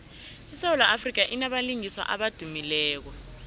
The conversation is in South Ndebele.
isewula afrika inabalingiswa abadumileko